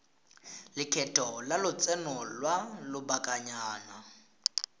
lekgetho la lotseno lwa lobakanyana